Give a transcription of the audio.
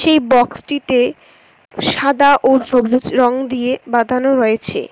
এই বক্সটিতে সাদা ও সবুজ রং দিয়ে বাঁধানো রয়েছে।